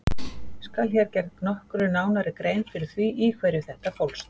Skal hér gerð nokkru nánari grein fyrir því í hverju þetta fólst.